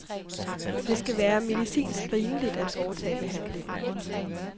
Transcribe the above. Det skal være medicinsk rimeligt at foretage behandlingen.